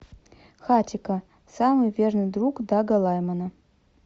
хатико самый верный друг дага лаймана